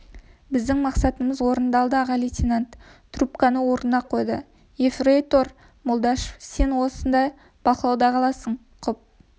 біздің мақсатымыз орындалды аға лейтенант трубканы орнына қойды ефрейтор молдашев мен сен осында бақылауда қаласың құп